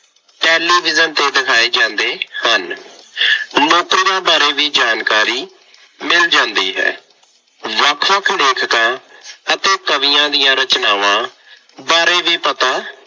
Television ਤੇ ਦਿਖਾਏ ਜਾਂਦੇ ਹਨ। ਨੌਕਰੀਆ ਬਾਰੇ ਵੀ ਜਾਣਕਾਰੀ ਮਿਲ ਜਾਂਦੀ ਹੈ। ਵੱਖ ਵੱਖ ਲੇਖਕਾਂ ਅਤੇ ਕਵੀਆਂ ਦੀਆਂ ਰਚਨਾਵਾਂ ਬਾਰੇ ਵੀ ਪਤਾ